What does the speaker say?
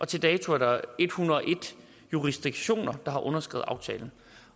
til dato er der en hundrede og en jurisdiktioner der har underskrevet aftalen